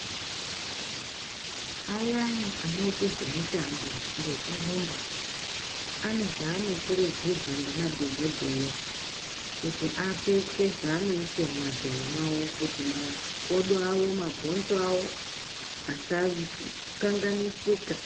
Ayani anoite zvemitambo ngekurumba ane zvanokurudzirwa ngemadhokodheya kuti apfeke, zvaanoise mumadhoyo awo kuti makodo awo -mabhonzo awo asa ..kanganisika.